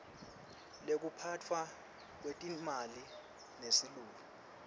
lekuphatfwa kwetetimali nesilulu